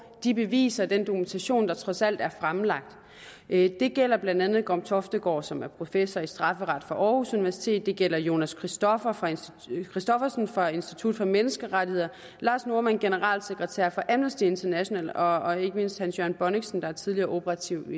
de beviser og den dokumentation der trods alt er fremlagt det gælder blandt andet gorm toftegaard som er professor i strafferet aarhus universitet det gælder jonas christoffersen christoffersen fra institut for menneskerettigheder lars normann generalsekretær for amnesty international og og ikke mindst hans jørgen bonnichsen der er tidligere operativ